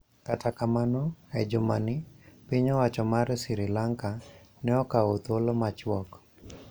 Kata kamano, e jumani, piny owacho mar Sri Lanka ne okawo thuolo machuok